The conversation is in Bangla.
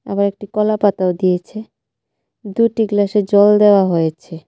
আবার একটি কলা পাতাও দিয়েছে দুইটি গ্লাসে জল দেওয়া হয়েছে.